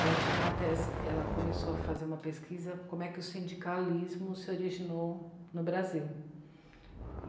Ela tinha uma tese, ela começou a fazer uma pesquisa como é que o sindicalismo se originou no Brasil.